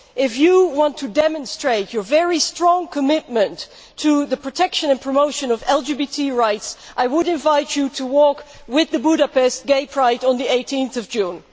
If you want to demonstrate your very strong commitment to the protection and promotion of LGBT rights, I would invite you to walk with Budapest Gay Pride on 18 June.